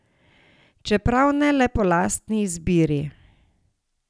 Čeprav ne le po lastni izbiri.